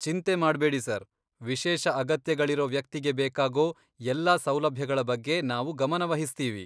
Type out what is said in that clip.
ಚಿಂತೆ ಮಾಡ್ಬೇಡಿ ಸರ್, ವಿಶೇಷ ಅಗತ್ಯಗಳಿರೋ ವ್ಯಕ್ತಿಗೆ ಬೇಕಾಗೋ ಎಲ್ಲ ಸೌಲಭ್ಯಗಳ ಬಗ್ಗೆ ನಾವು ಗಮನವಹಿಸ್ತೀವಿ.